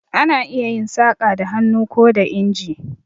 Ana iya yin saƙa da hannu ko da inji.